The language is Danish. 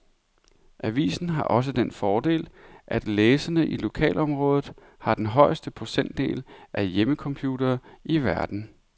Avisen har også den fordel, at læserne i lokalområdet har den højeste procentdel af hjemmecomputere i hele verden.